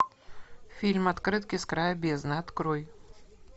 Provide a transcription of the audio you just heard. фильм открытки с края бездны открой